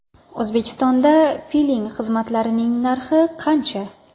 O‘zbekistonda piling xizmatlarining narxi qancha?